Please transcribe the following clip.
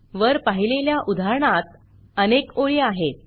वर पाहिलेल्या उदाहरणात अनेक ओळी आहेत